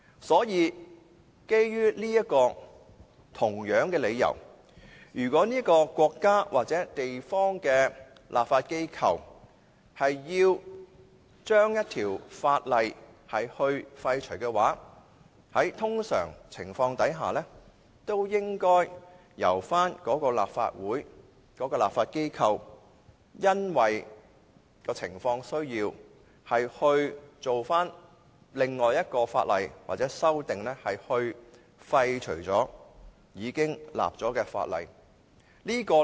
所以，基於同樣理由，如果某國家或地區的立法機構要廢除一條法例的話，在通常的情況下，也應由立法會或立法機構因應情況的需要，訂立另一法例或提出修訂，以廢除已訂立的法例。